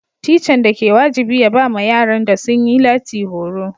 Tican da ke wajibi ya ba ma yaran da sun yi lati horo.